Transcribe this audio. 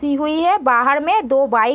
ती हुई हैं बाहर में दो बाइक --